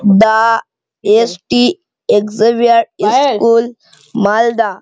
The S T Xavier school Malda.